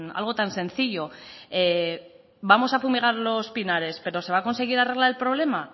algo tan sencillo vamos a fumigar los pinares pero se va a conseguir arreglar el problema